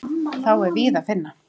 Þá er víða að finna.